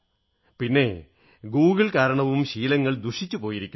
പിന്നെ ഗൂഗിൾ കാരണവും ശീലങ്ങൾ ദുഷിച്ചുപോയിരിക്കുന്നു